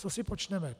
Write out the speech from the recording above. Co si počneme?